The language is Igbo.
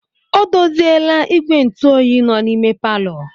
O doziela igwe ntụ oyi nọ n'ime palọ.